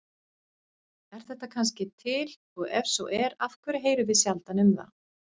Er þetta kannski til og ef svo er af hverju heyrum við sjaldan um það?